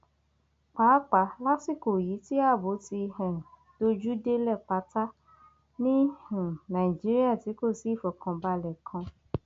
pàápàá lásìkò yìí tí ààbò ti um dojú délé pátá ni um nàìjíríà tí kò sí ìfọkànbalẹ kan